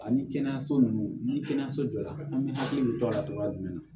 Ani kɛnɛyaso ninnu ni kɛnɛyaso jɔ la an bɛ hakili to a la togoya jumɛn na